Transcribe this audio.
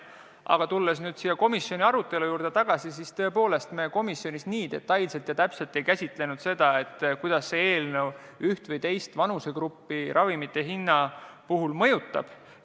Aga kui tulla komisjoni arutelu juurde tagasi, siis tõepoolest me komisjonis detailselt ei käsitlenud, kuidas see eelnõu üht või teist vanusegruppi ravimite hinna seisukohast mõjutab.